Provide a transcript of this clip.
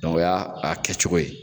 o y'a kɛcogo ye.